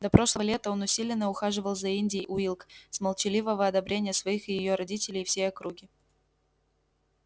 до прошлого лета он усиленно ухаживал за индией уилк с молчаливого одобрения своих и её родителей и всей округи